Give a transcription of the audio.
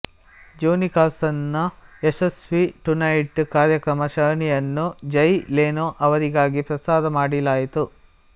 Johnny Carson ನ ಯಶಸ್ವಿ Tonight ಕಾರ್ಯಕ್ರಮ ಸರಣಿಯನ್ನು ಜಯ್ ಲೆನೊ ಅವರಿಗಾಗಿ ಪ್ರಸಾರ ಮಾಡಲಾಯಿತು